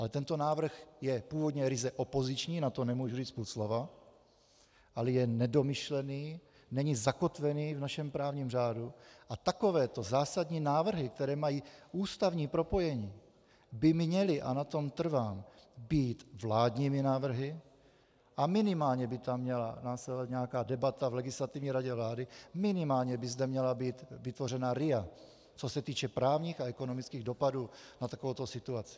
Ale tento návrh je původně ryze opoziční, na to nemůžu říct půl slova, ale je nedomyšlený, není zakotvený v našem právním řádu a takovéto zásadní návrhy, které mají ústavní propojení, by měly, a na tom trvám, být vládními návrhy a minimálně by tam měla následovat nějaká debata v Legislativní radě vlády, minimálně by zde měla být vytvořena RIA, co se týče právních a ekonomických dopadů na takovouto situaci.